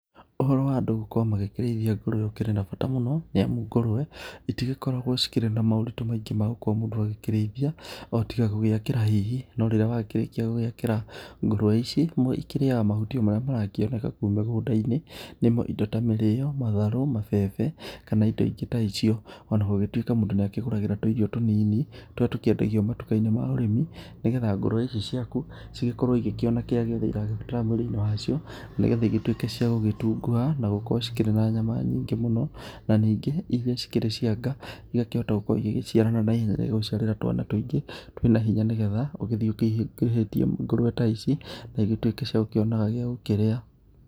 Ũhoro wa andũ gũkorwo magĩkĩrĩithia ngũrũwe ũkĩrĩ na bata mũno nĩamu ngũrũwe itĩgĩkoragwo cirĩkĩ na moritũ maingĩ magũkorwo mũndũ agĩkĩrĩithia o tiga gũgĩakĩra hihi no rĩrĩa wakĩrĩkia gũgĩakĩra ngũrũwe ici ikĩrĩaga mahuti marĩa marakĩoneka kũu mĩgũnda-inĩ nĩmo indo ta mĩrio ,matharũ ,mambembe kana indo ingĩ ta ico ona gũgĩtuĩka mũndũ nĩ akĩgũragĩra tũirio tũnini tũrĩa tũkĩendagio matukainĩ ma ũrĩmi nĩgetha ngurũwe ici ciaku cigĩkorwo igĩkĩona kĩrĩa gĩothe iragĩbatara mwĩrĩ-inĩ wacio nĩgetha igĩtuĩke cia gũgĩtunguha na gũkorwo cikĩrĩ na nyama nyingĩ mũno na ningĩ irĩa cikĩrĩ ciaka igakĩhota gũkorwo igĩgĩciarana na ihenya na igagũiarĩra twana tũingĩ twina hinya nĩgetha ũgĩthiĩ ũkĩingĩhĩtie ngũrũwe ta ici na igĩtuĩke cia gũkĩonaga cia gũkĩrĩa.